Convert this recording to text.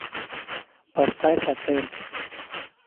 поставь отель